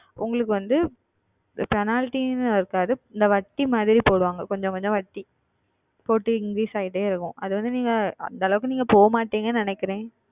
உங்களுக்கு வந்து Penalty என்று இருக்காது இந்த வட்டி மாதிரி போடுவார்கள் கொஞ்சம் கொஞ்சம் வட்டி போட்டு Increase ஆகிக்கொண்டே இருக்கும் அது வந்து நீங்கள் அந்த அளவிற்கு நீங்கள் செல்ல மாட்டீர்கள் என்று நினைக்கிறன்